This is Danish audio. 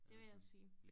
Det vil jeg sige